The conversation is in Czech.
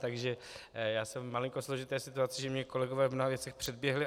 Takže já jsem v malinko složité situaci, že mě kolegové v mnoha věcech předběhli.